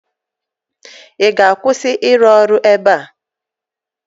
Ị ga-akwụsị ịrụ ọrụ ebe a?